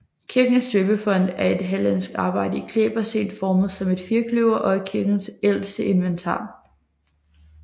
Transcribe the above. Kirkens døbefont er et hallandsk arbejde i klæbersten formet som et firkløver og er kirkens ældste inventar